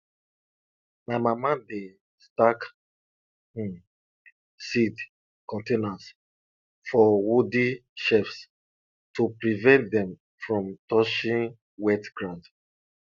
my mama dey stack um seed containers for wooden shelves to prevent dem from touching wet ground